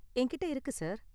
என்கிட்ட இருக்கு, சார்.